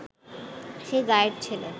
সে গাঁয়ের ছেলে